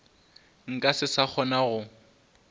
nka se sa kgona go